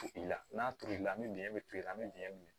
I la n'a tolila ni dingɛ bɛ toli i bɛ dingɛ min